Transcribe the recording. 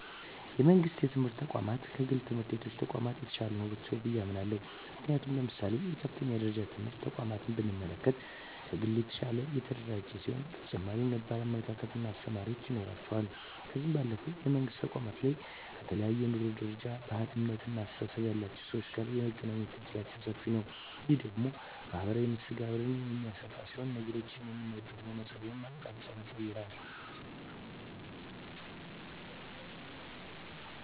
የመንግስት የትምህርት ተቋማት ከግል የትምህርት ተቋማት የተሻሉ ናቸው ብየ አምናለሁ። ምክንያቱም ለምሳሌ የከፍተኛ ደረጃ ትምህርት ተቋምን ብንመለከት ከግል የተሻለ የተደራጀ ሲሆን በተጨማሪም ነባር አመራር እና አስተማሪዎች ይኖረዋል። ከዚህ ባለፈም የመንግስት ተቋማት ላይ ከተለያየ የኑሮ ደረጃ፣ ባህል፣ እምነት እና አስተሳሰብ ያላቸው ሰወች ጋር የመገናኘት እድላችን ሰፊ ነዉ። ይህ ደግሞ ማህበራዊ መስተጋብርን የሚያሰፋ ሲሆን ነገሮችን የምናይበትን መነፀር ወይም አቅጣጫንም ይቀየራል።